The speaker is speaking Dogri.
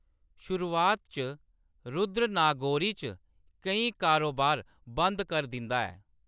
शुरुआत च रुद्र नागोरी च केईं कारोबार बंद कर दिंदा ऐ।